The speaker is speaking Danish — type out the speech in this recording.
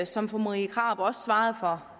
som fru marie krarup også svarede for